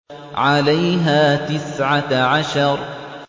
عَلَيْهَا تِسْعَةَ عَشَرَ